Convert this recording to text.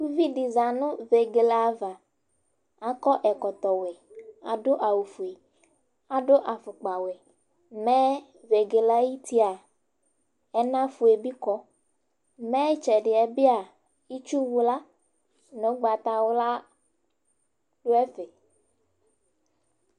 Uvi dɩ za nʋ vegele ava: akɔ ɛkɔtɔ wɛ, adʋ awʋ fue, adʋ afʋkpa wɛ Mɛ vegele ayʋ tiaa ,ɛna fue bɩ kɔ ,mɛ ɩtsɛdɩ ɛ bɩa ,itsuwla nʋ ʋgbata wla dʋ ɛfɛ